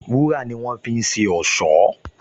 Wúrà ni wọ́n fi ń ṣe ọ̀ṣọ́